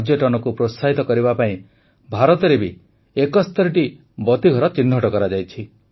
ପର୍ଯ୍ୟଟନକୁ ପ୍ରୋତ୍ସାହିତ କରିବା ପାଇଁ ଭାରତରେ ବି ୭୧ ବତୀଘର ଚିହ୍ନଟ କରାଯାଇଛି